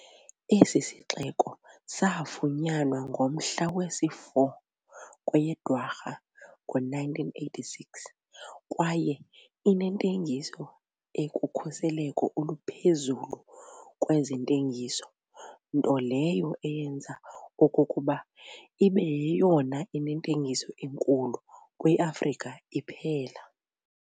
Esi sixeko saafunyanwa ngomhla wesi-4 kweyeDwarha, ngo-1986 kwaye inentengiso ekukhuseleko oluphezulu kwezentengiso, nto leyo eyenza okokuba ine yeyona inentengiso enkulu kwi-afrika iphela.